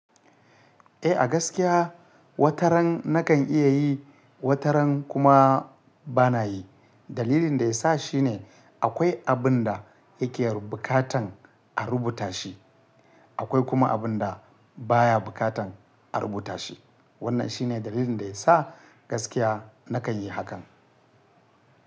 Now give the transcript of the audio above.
Eh a gaskiya, wataran na kan iya yi, wataran kuma bana yi. Dalilin da ya sa shine akwai abin da yake bukatan a rubuta shi, akwai kuma abin da baya bukatan a rubuta shi. Wannan shine dalilin da ya sa gaskiya na kan yi hakan.